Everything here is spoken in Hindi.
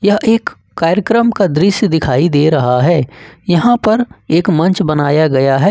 यह एक कार्यक्रम का दृश्य दिखाई दे रहा है यहां पर एक मंच बनाया गया है।